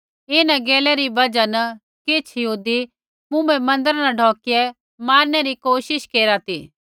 इन्हां गैलै री बजहा न किछ़ यहूदी मुँभै मन्दिरा न ढौकिया मारनै री कोशिश केरा ती